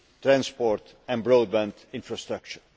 transport and broadband infrastructure.